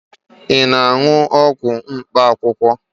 Ị na-aṅụ ọgwụ mkpaakwụkwọ?